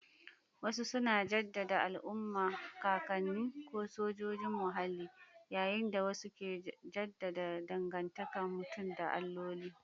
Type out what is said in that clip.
Wasu suna jaddada al'umma, kakanni, ko sojojin muhalli, yayin da wasu ke jaddada dangantakar mutum da alloli.